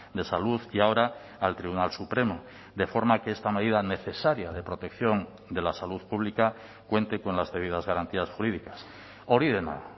de salud y ahora al tribunal supremo de forma que esta medida necesaria de protección de la salud pública cuente con las debidas garantías jurídicas hori dena